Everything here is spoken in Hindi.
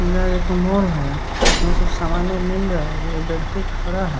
यह एक मॉल है जिसमें कुछ सामान मिल रहा है एक व्यक्ति खड़ा है।